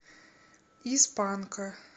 из панка